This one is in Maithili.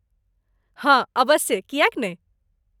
हँ, अबस्से, किएक नहि?